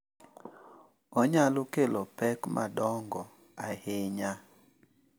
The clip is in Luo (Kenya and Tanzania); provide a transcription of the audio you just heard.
Onyalo kelo pek madongo ahinya.